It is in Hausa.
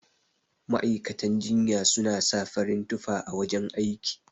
Ma'aikatan jinya suna sa farin tufa a wajan aiki.